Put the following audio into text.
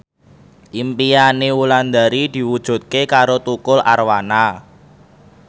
impine Wulandari diwujudke karo Tukul Arwana